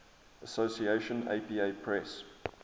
association apa press